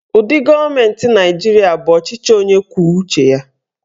Ụdị gọọmenti Nigeria bụ ọchịchị onye kwuo uche ya.